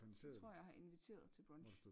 Tror jeg har inviteret til brunch